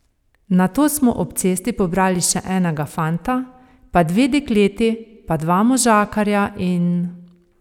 Nato smo ob cesti pobrali še enega fanta, pa dve dekleti, pa dva možakarja in ...